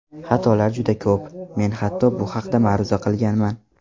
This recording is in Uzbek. Xatolar juda ko‘p, men hatto bu haqda ma’ruza qilganman.